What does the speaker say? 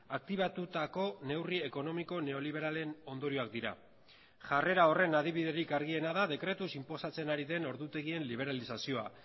aktibatutako neurri ekonomiko neoliberalen ondorioak dira jarrera horren adibiderik argiena da dekretuz inposatzen ari den ordutegien liberalizazioa